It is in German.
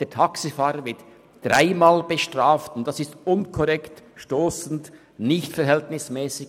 Der Taxifahrer wird dreimal bestraft, und dies ist unkorrekt, stossend und nicht verhältnismässig.